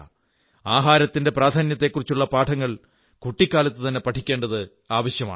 ആഹാരത്തിന്റെ പ്രാധാന്യത്തെക്കുറിച്ചുള്ള പാഠങ്ങൾ കുട്ടിക്കാലത്തുതന്നെ പഠിക്കേണ്ടത് ആവശ്യമാണ്